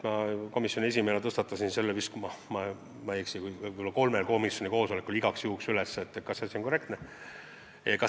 Ma komisjoni esimehena igaks juhuks tõstatasin selle küsimuse, kui ma ei eksi, kolmel komisjoni koosolekul, et kindel olla, et see on korrektne, et nii võib teha.